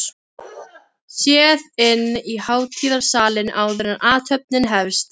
Séð inn í hátíðarsalinn, áður en athöfnin hefst.